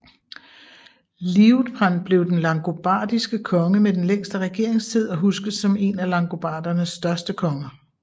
Liutprand blev den langobardiske konge med den længste regeringstid og huskes som en af langobardernes største konger